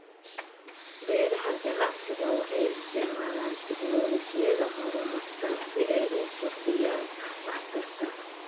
Beeraha ganacsiga waxay isticmaalaan tignoolajiyada horumarsan si ay u kordhiyaan waxtarka.